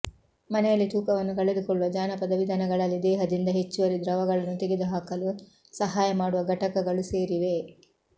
ಮನೆಯಲ್ಲಿ ತೂಕವನ್ನು ಕಳೆದುಕೊಳ್ಳುವ ಜಾನಪದ ವಿಧಾನಗಳಲ್ಲಿ ದೇಹದಿಂದ ಹೆಚ್ಚುವರಿ ದ್ರವಗಳನ್ನು ತೆಗೆದುಹಾಕಲು ಸಹಾಯ ಮಾಡುವ ಘಟಕಗಳು ಸೇರಿವೆ